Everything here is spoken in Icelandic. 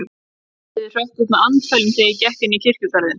Járnhliðið hrökk upp með andfælum, þegar ég gekk inn í kirkjugarðinn.